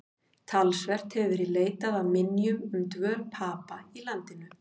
Talsvert hefur verið leitað að minjum um dvöl Papa í landinu.